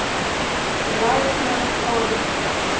Látnar kólna.